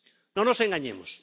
No nos engañemos.